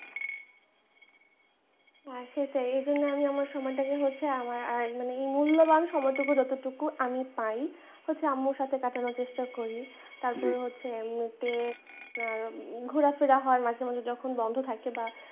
সেটাই এইজন্য আমি আমার সময়টাকে হচ্ছে এই মূল্যবান সময়টুকু যতটুকু আমি পাই হচ্ছে আম্মুর সাথে কাটানোর চেষ্টা করি তারপরে হচ্ছে ঘোরাফেরা হয় মাঝেমাঝে যেখান বন্ধ থাকে। বা